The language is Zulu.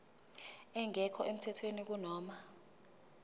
engekho emthethweni kunoma